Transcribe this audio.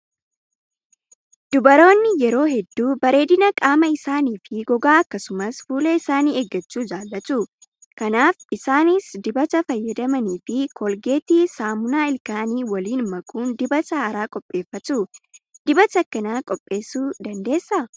Dubaroonni yeroo hedduu bareedina qaama isaanii fi gogaa akkasumas fuula isaanii eeggachuu jaallatu. Kanaaf isaanis dibata fayyadamanii fi koolgeetii saamunaa ilkaanii waliin makuun dibata haaraa qopheeffatu. Dibata akkanaa qopheessuun dandeessaa?